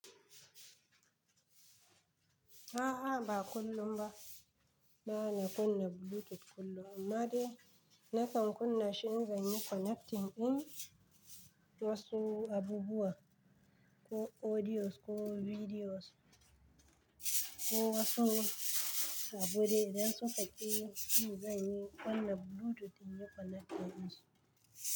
A'a, ba kullum ba. Ba na kunna Bluetooth kullum, amma dai na kan kunna shi in zan yi connecting ɗin wasu abubuwa, ko audios ko videos ko wasu abude, idansu ka ƙi in zan yi kunna Bluetooth in yi connecting.